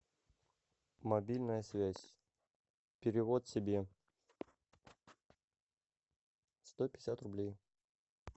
мобильная связь перевод себе сто пятьдесят рублей